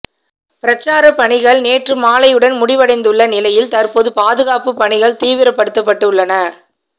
பிரச்சாரப் பணிகள் நேற்று மாலையுடன் முடிவடைந்துள்ள நிலையில் தற்போது பாதுகாப்புப் பணிகள் தீவிரப்படுத்தப்பட்டுள்ளன